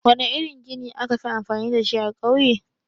Wana irin gini akafi amfani dashi a ƙauye?